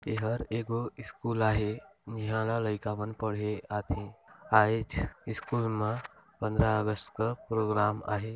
ए हर एगो स्कूल आहे ए ह लइका मन पढ़े आथे आहिच्चे स्कूल मा पंद्रह अगस्त का प्रोग्राम आहे।